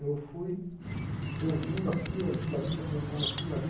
Eu fui ouvindo aqui, ouvindo ali, perguntando aqui e ali.